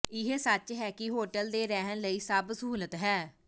ਇਹ ਸੱਚ ਹੈ ਕਿ ਹੋਟਲ ਦੀ ਰਹਿਣ ਲਈ ਸਭ ਸਹੂਲਤ ਹੈ